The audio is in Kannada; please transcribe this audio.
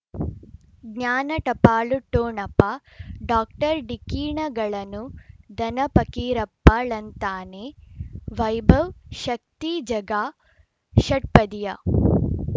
ಜ್ಞಾನ ಟಪಾಲು ಠೊಣಪ ಡಾಕ್ಟರ್ ಢಿಕ್ಕಿ ಣಗಳನು ಧನ ಫಕೀರಪ್ಪ ಳಂತಾನೆ ವೈಭವ್ ಶಕ್ತಿ ಝಗಾ ಷಟ್ಪದಿಯ